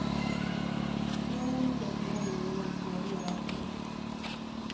Smörj en plåt med oljan och lägg på rårakorna.